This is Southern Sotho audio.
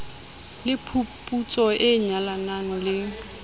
le phuputso e nyalanang le